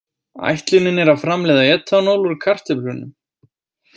Ætlunin er að framleiða etanól úr kartöflunum.